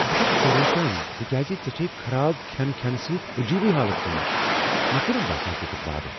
بہٕ چھس پریشان تہ کیٛاز ژےٚ چھیٚے خراب کھین کھینہٕ سۭتۍ عجیٖبٕے حالت گٔمٕژ۔ مےٚ چھنہٕ باسان ژٕ چھکھ وارٕ۔